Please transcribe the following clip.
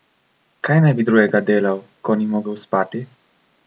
Kaj naj bi drugega delal, ko ni mogel spati?